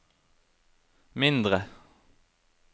mindre